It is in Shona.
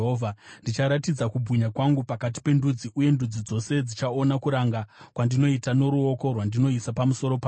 “Ndicharatidza kubwinya kwangu pakati pendudzi, uye ndudzi dzose dzichaona kuranga kwandinoita noruoko rwandinoisa pamusoro pavo.